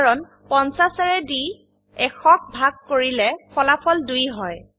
কাৰণ 50ৰে দি 100ক ভাগ কৰিলে ফলাফল 2 হয়